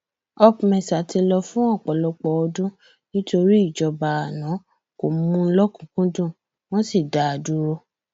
opmesa ti lọ fún ọpọlọpọ ọdún nítorí ìjọba àná kò mú un lọkùnúnkúndùn wọn sì dá a dúró